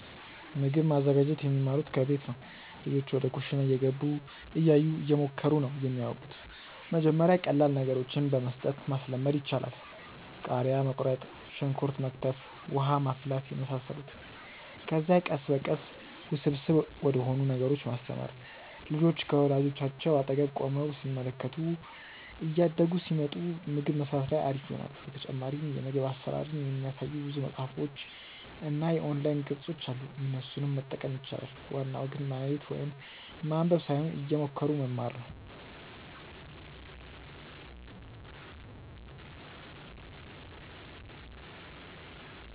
ምግብ ማዘጋጀት የሚማሩት ከቤት ነው። ልጆች ወደ ኩሽና እየገቡ፣ እያዩ፣ እየሞከሩ ነው የሚያወቁት። መጀመሪያ ቀላል ነገሮችን በመስጠት ማስለመድ ይቻላል። ቃሪያ መቁረጥ፣ ሽንኩርት መክተፍ፣ ውሃ ማፍላት የመሳሰሉትን። ከዚያ ቀስ በቀስ ውስብስብ ወደሆኑ ነገሮች ማስተማር። ልጆች ከወላጆቻቸው አጠገብ ቆመው ሲመለከቱ እያደጉ ሲመጡ ምግብ መስራት ላይ አሪፍ ይሆናሉ። በተጨማሪም የምግብ አሰራርን የሚያሳዩ ብዙ መፅሀፎች እና የኦንላይን ገፆች አሉ እነሱንም መጠቀም ይቻላል። ዋናው ግን ማየት ወይም ማንበብ ሳይሆን እየሞከሩ መማር ነው